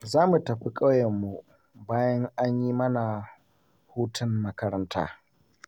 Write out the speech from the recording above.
Za mu tafi ƙauyenmu bayan an yi mana hutun makaranta